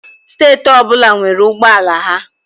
Steeti ọbụla nwere ụgbọala ha.